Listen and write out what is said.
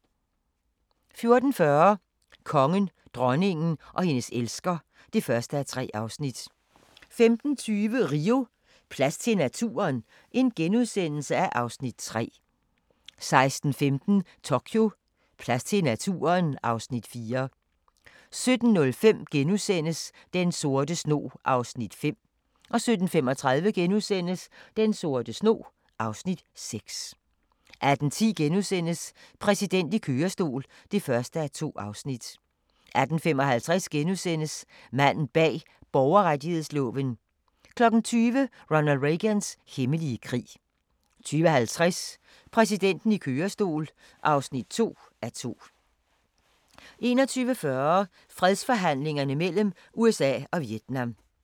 14:40: Kongen, dronningen og hendes elsker (1:3) 15:20: Rio: Plads til naturen? (Afs. 3)* 16:15: Tokyo: Plads til naturen? (Afs. 4) 17:05: Den sorte snog (Afs. 5)* 17:35: Den sorte snog (Afs. 6)* 18:10: Præsidenten i kørestol (1:2)* 18:55: Manden bag borgerrettighedsloven * 20:00: Ronald Reagans hemmelige krig 20:50: Præsidenten i kørestol (2:2) 21:40: Fredsforhandlingerne mellem USA og Vietnam